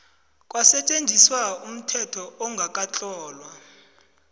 kwasetjenziswa umthetho ongakatlolwa